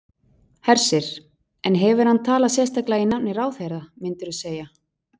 Hersir: En hefur hann talað sérstaklega í nafni ráðherra, myndirðu segja?